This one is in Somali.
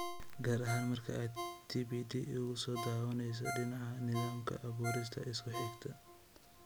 Gaar ahaan, marka aad TPD uga soo dhowaanayso dhinaca nidaamka, abuurista isku xidhka.